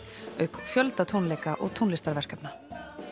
auk fjölda tónleika og tónlistarverkefna